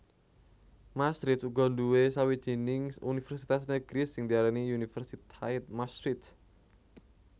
Maastricht uga nduwé sawijining univèrsitas negeri sing diarani Universiteit Maastricht